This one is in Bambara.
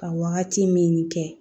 Ka wagati min kɛ